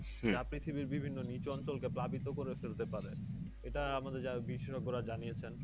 যা পৃথিবীর বিভিন্ন নিচু অঞ্চলকে প্লাবিত করে ফেলতে পারে। এটা আমাদের যা বিশেষজ্ঞরা জানিয়েছেন।